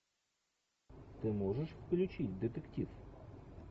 ты можешь включить детектив